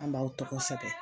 An b'aw tɔgɔ sɛbɛn.